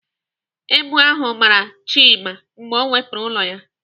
Èbù ahụ gbara Chima mgbe ọ wepụrụ ụlọ ya.